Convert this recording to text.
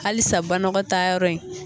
Halisa banagɔtaa yɔrɔ in